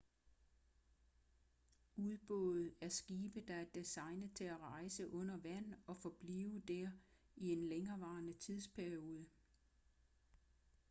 ubåde er skibe der er designet til at rejse under vand og forblive der i en længevarende tidsperiode